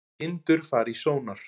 Kindur fara í sónar